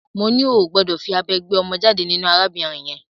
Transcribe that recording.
Mo ní o ò gbọdọ̀ fí abẹ gbé ọmọ jáde nínú arábìnrin yẹn!